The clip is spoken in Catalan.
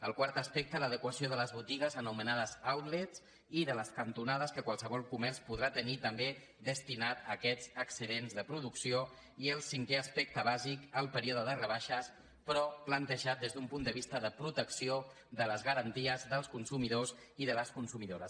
el quart aspecte l’adequació de les botigues anomenades outletcantonades que qualsevol comerç podrà tenir també destinat a aquests excedents de producció i el cinquè aspecte bàsic el període de rebaixes però plantejat des d’un punt de vista de protecció de les garanties dels consumidors i de les consumidores